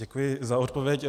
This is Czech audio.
Děkuji za odpověď.